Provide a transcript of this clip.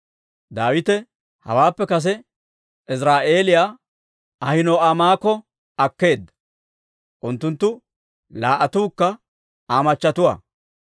Daawite hawaappe kase Iziraa'eeliyaa Ahino'aamokka akkeedda; unttunttu laa"attuukka Aa machatuwaa.